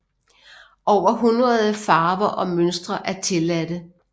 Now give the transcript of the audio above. Over hundrede farver og mønstre er tilladte